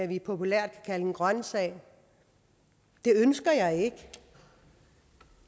vi populært kan kalde en grøntsag og det ønsker jeg ikke